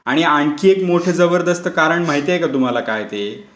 आणि आणखी एक मोठं जबरदस्त कारण माहितीये का तुम्हाला काय ते?